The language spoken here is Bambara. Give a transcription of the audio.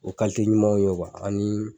O ka ye ani